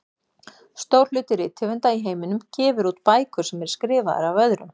Stór hluti rithöfunda í heiminum gefur út bækur sem eru skrifaðar af öðrum.